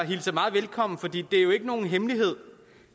hilser meget velkommen fordi det jo ikke er nogen hemmelighed